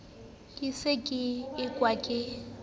ke se ke ekwa ke